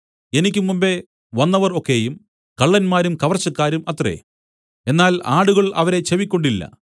എനിക്ക് മുമ്പെ വന്നവർ ഒക്കെയും കള്ളന്മാരും കവർച്ചക്കാരും അത്രേ എന്നാൽ ആടുകൾ അവരെ ചെവിക്കൊണ്ടില്ല